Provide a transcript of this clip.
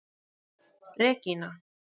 Regína